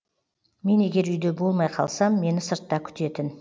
мен егер үйде болмай қалсам мені сыртта күтетін